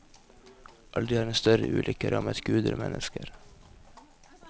Aldri har en større ulykke rammet guder og mennesker.